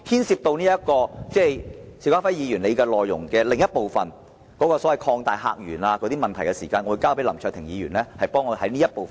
邵家輝議員議案的另一部分，有關擴大客源的問題，我會交給林卓廷議員代為論述。